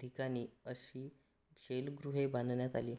धीकानी अशी शैलग्रुहे बांधण्यात आली